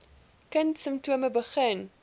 kind simptome begin